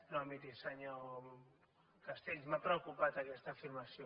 no miri senyor castells m’ha preocupat aquesta afirmació